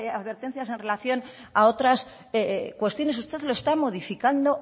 advertencias en relación a otras cuestiones usted lo está modificando